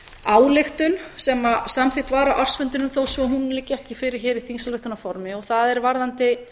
ályktun sem samþykkt var á ársfundinum þó svo að hún liggi ekki fyrir hér í þingsályktunarformi og það er varðandi